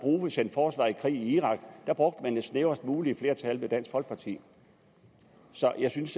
sendte forsvaret i krig i irak brugte det snævrest mulige flertal med dansk folkeparti så jeg synes